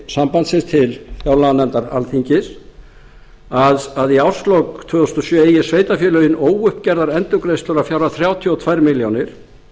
sambandsins til fjárlaganefndar alþingis að í árslok tvö þúsund og sjö eigi sveitarfélögin óuppgerðar endurgreiðslur að fjárhæð þrjátíu og tvær milljónir